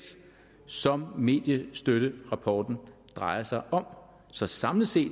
som mediestøtterapporten drejer sig om så samlet set